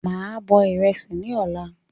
Máa bọ̀ ìrẹsì ni ọ̀la